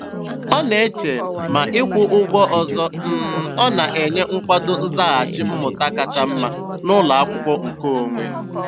Ọ na-eche ma ịkwụ ụgwọ ọzọ um ọ na-enye nkwado nzaghachi mmụta kacha mma n'ụlọakwụkwọ nke onwe.